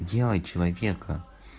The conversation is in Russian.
делай человека